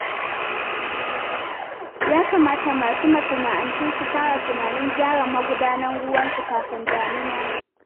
Ya kamata masu masana'antu su fara tunanin gyaran magudanan ruwansu kafin damina.